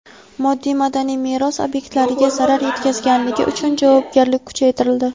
Moddiy madaniy meros obyektlariga zarar yetkazganlik uchun javobgarlik kuchaytirildi.